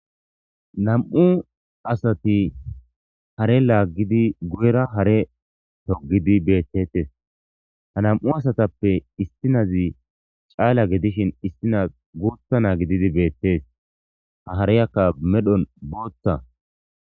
nam7u asati hare laaggidi guyera hare togidi beettettes ha nam7u asatappe istinazi caala gedishin istina gurtha na gididi beettees ha hareyakka medhon bootta